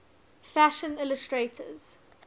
fashion illustrators